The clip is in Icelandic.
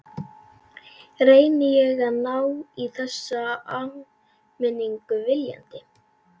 Reyndi ég að ná í þessa áminningu viljandi?